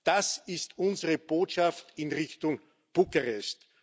Das ist unsere Botschaft in Richtung Bukarest.